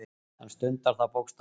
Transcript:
Hann stundar það bókstaflega.